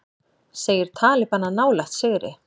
Segir talibana nálægt sigri